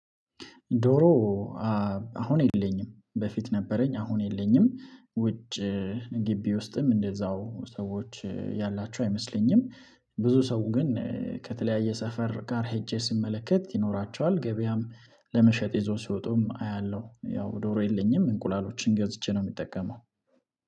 ዶሮ አሁን የለኝም በፊት ነበረኝ አሁን የለኝም ውጭ ግቢ ውስጥም እንደዛው ሰዎች ያላቸው አይመስለኝም። ብዙ ሰው ግን ከተለያየ ሰፈር ጋር ሄጄ ስመለከት ይኖራቸዋል። ገበያም ለመሸጥ ይዞ ሲወጡም አያለሁ ያው ዶሮ የለኝም እንቁላሎችን ገዝቼ ነው ምጠቀመው።